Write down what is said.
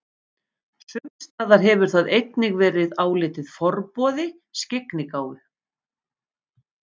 Sumstaðar hefur það einnig verið álitið forboði skyggnigáfu.